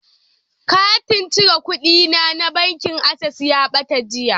Katin cire kuɗina na bankin Access ya ɓata jiya.